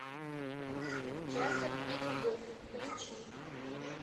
часом не любовь включи